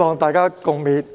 "大家共勉。